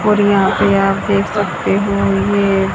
और यहां पे आप देख सकते हो ये।